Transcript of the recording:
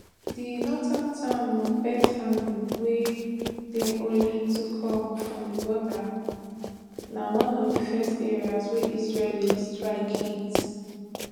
di northern town of beit hanoun wey dey only twokm from di border na one of di first areas wey israeli strikes hit